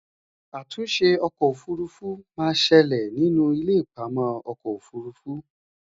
àtúnṣe ọkọ òfurufú má ṣẹlẹ nínú ilé ipamọ okò òfurufú